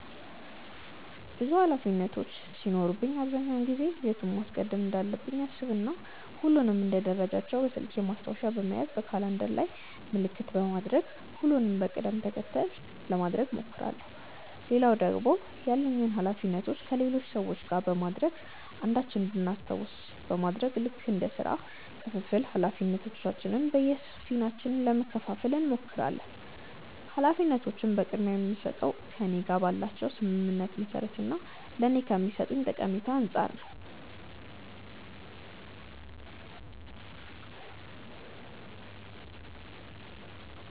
ብዙ ኃላፊነቶች ሲኖሩብኝ አብዛኛውን ጊዜ የቱን ማስቀደም እንዳለብኝ አሰብ እና ሁሉንም እንደ ደረጃቸው በስልኬ ማስታወሻ በመያዝ በካላንደር ላይም ምልክት በማድረግ ሁሉንም በቅድም ተከተል ለማድረግ እሞክራለው። ሌላው ደግሞ ያሉኝን ኃላፊነቶች ከሌሎች ሰዎች ጋር በማድረግ አንዳችን እንድናስታውስ በማድረግ ልክ እንደ ስራ ክፍፍል ኃላፊነቶችን በየፊናችን ለመከፈፋል እንሞክራለን። ኃላፊነቶችን ቅድምያ የምስጠው ከእኔ ጋር ባላቸው ስምምነት መሰረት እና ለኔ ከሚሰጡኝ ጠቀሜታ አንፃር ነው።